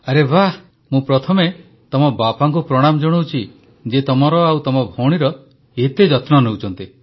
ଆରେ ବାଃ ତ ମୁଁ ପ୍ରଥମେ ତମ ବାପାଙ୍କୁ ପ୍ରଣାମ ଜଣାଉଛି ଯିଏ ତମର ଆଉ ତମ ଭଉଣୀର ଏତେ ଯତ୍ନ ନେଉଛନ୍ତି